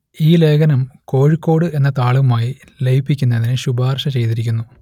ഈ ലേഖനം കോഴിക്കോട് എന്ന താളുമായി ലയിപ്പിക്കുന്നതിന് ശുപാർശ ചെയ്തിരിക്കുന്നു